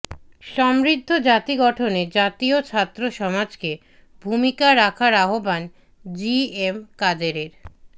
সম্বৃদ্ধ জাতি গঠনে জাতীয় ছাত্র সমাজকে ভূমিকা রাখার আহ্বান জি এম কাদেরের